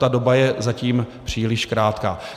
Ta doba je zatím příliš krátká.